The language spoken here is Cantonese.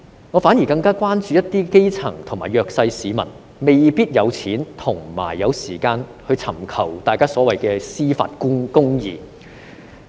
我反而更加關注一些基層及弱勢市民未必有金錢和時間尋求所謂的司法公義。